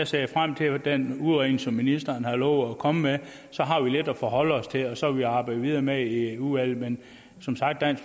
ser jeg frem til den udredning som ministeren har lovet at komme med så har vi lidt at forholde os til og så vil vi arbejde videre med det i udvalget men som sagt er